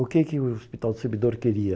O que que o Hospital do Servidor queria?